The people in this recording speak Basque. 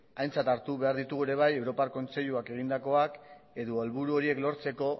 aintzat hartu behar ditugu ere bai europar kontseiluak egindakoak edo helburu horiek lortzeko